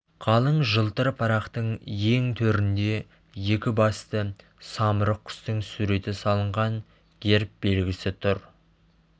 қалың жылтыр парақтың ең төрінде екі басты самұрық құстың суреті салынған герб белгісі тұр